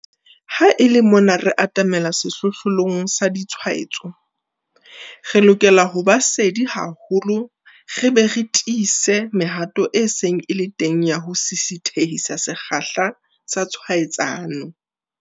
Ha e le mona re atamela se-hlohlolong sa ditshwaetso, re lokela ho ba sedi haholo re be re tiise mehato e seng e le teng ya ho sisithehisa sekgahla sa tshwaetsano.